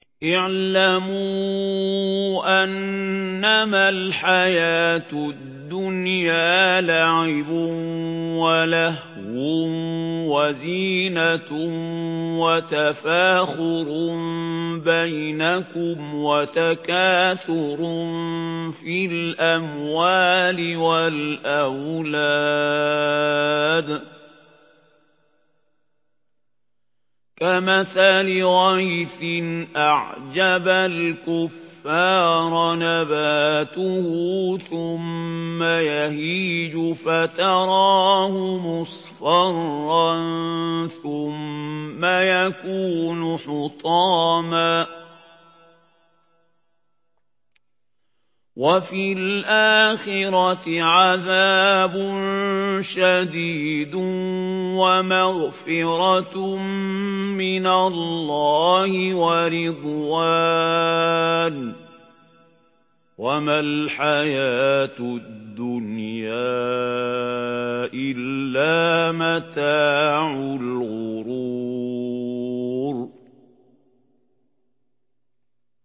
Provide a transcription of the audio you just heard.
اعْلَمُوا أَنَّمَا الْحَيَاةُ الدُّنْيَا لَعِبٌ وَلَهْوٌ وَزِينَةٌ وَتَفَاخُرٌ بَيْنَكُمْ وَتَكَاثُرٌ فِي الْأَمْوَالِ وَالْأَوْلَادِ ۖ كَمَثَلِ غَيْثٍ أَعْجَبَ الْكُفَّارَ نَبَاتُهُ ثُمَّ يَهِيجُ فَتَرَاهُ مُصْفَرًّا ثُمَّ يَكُونُ حُطَامًا ۖ وَفِي الْآخِرَةِ عَذَابٌ شَدِيدٌ وَمَغْفِرَةٌ مِّنَ اللَّهِ وَرِضْوَانٌ ۚ وَمَا الْحَيَاةُ الدُّنْيَا إِلَّا مَتَاعُ الْغُرُورِ